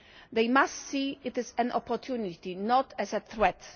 They must see it is an opportunity, not as a threat.